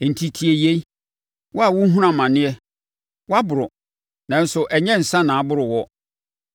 Enti tie yei, wo a worehunu amaneɛ waboro, na nso ɛnyɛ nsã na aboro woɔ.